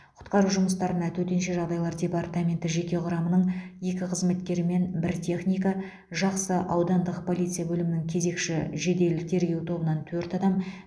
құтқару жұмыстарына төтенше жағдайлар департаменті жеке құрамының екі қызметкері мен бір техника жақсы аудандық полиция бөлімінің кезекші жедел тергеу тобынан төрт адам